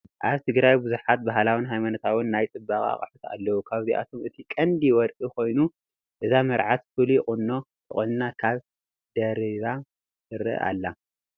ኣብ ትግራይ ብዙሓት ባህላዊ ሃይማኖታውን ናይ ፅባቐ ኣቑሑት ኣለው፡፡ ካብዚኣቶም እቲ ቀንዲ ወርቂ ኮይኑ እዛ መርዓት ፍሉይ ቁኖ ተቆኒና ካባ ደሪባ ትረአ ኣላ፡፡